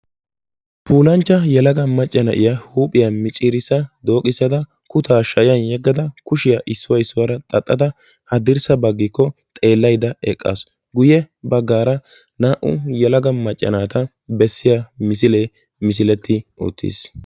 Puulanchcha yelaga macca na'iya huuphiyaa micciirissa dooqissada kutaa shayan yeggada kushiyaa issuwa issuwaara xaxxada haddirssa baggiko xeelaydda eqqasu. Guyye baggaara naa"u yelaga macca naata bessiya misile misileti uttiis.